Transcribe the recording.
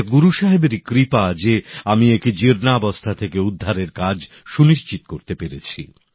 এটা গুরু সাহেবেরই কৃপা যে আমি একে জীর্ণাবস্থা থেকে উদ্ধারের কাজ সুনিশ্চিত করতে পেরেছি